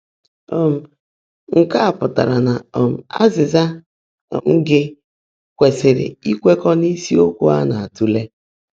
um Nkè á pụ́tárá ná um ázị́zã um gị́ kwèsị́rị́ íkwèkọ́ n’ísiokwú á ná-átụ́leè.